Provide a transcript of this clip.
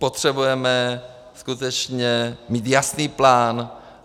Potřebujeme skutečně mít jasný plán.